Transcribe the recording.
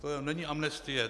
To není amnestie.